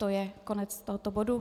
To je konec tohoto bodu.